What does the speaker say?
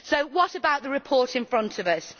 So what about the report in front of us?